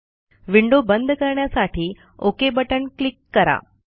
window बंद करण्यासाठी okay button click करा